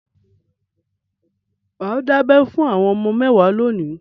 Mà á dábẹ fún àwọn ọmọ mẹ́wàá lónìí.